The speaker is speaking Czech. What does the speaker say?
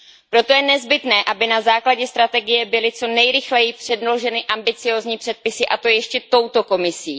Proto je nezbytné, aby na základě strategie byly co nejrychleji předloženy ambiciózní předpisy a to ještě touto Komisí.